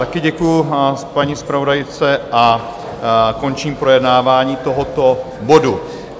Také děkuji paní zpravodajce a končím projednávání tohoto bodu.